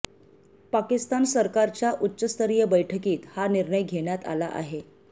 पाकिस्तान सरकारच्या उच्चस्तरीय बैठकीत हा निर्णय घेण्यात आला आहे